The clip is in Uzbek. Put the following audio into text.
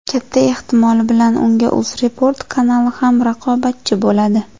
Katta ehtimol bilan unga UzReport kanali ham raqobatchi bo‘ladi.